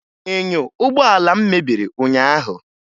Enyo ụgbọala m mebiri ụnyaahụ